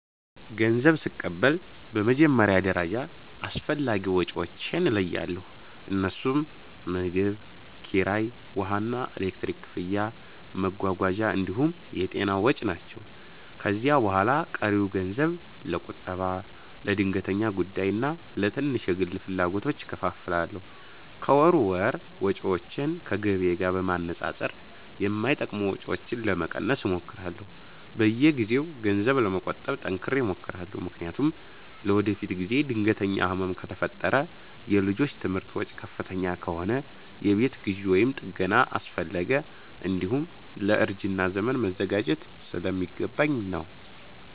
ገንዘብ ስቀበል በመጀመሪያ ደረጃ አስፈላጊ ወጪዎቼን እለያለሁ፤ እነርሱም ምግብ፣ ኪራይ፣ ውሃና ኤሌክትሪክ ክፍያ፣ መጓጓዣ እንዲሁም የጤና ወጪ ናቸው። ከዚያ በኋላ ቀሪውን ገንዘብ ለቁጠባ፣ ለድንገተኛ ጉዳይና ለትንሽ የግል ፍላጎቶች እከፋፍላለሁ። ከወር ወር ወጪዎቼን ከገቢዬ ጋር በማነጻጸር የማይጠቅሙ ወጪዎችን ለመቀነስ እሞክራለሁ። በየጊዜው ገንዘብ ለመቆጠብ ጠንክሬ እሞክራለሁ፤ ምክንያቱም ለወደፊት ጊዜ ድንገተኛ ህመም ከፈጠረ፣ የልጆች ትምህርት ወጪ ከፍተኛ ከሆነ፣ የቤት ግዢ ወይም ጥገና አስፈለገ፣ እንዲሁም ለእርጅና ዘመን መዘጋጀት ስለሚገባኝ ነው።